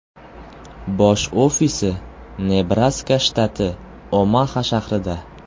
Bosh ofisi Nebraska shtati, Omaxa shahrida.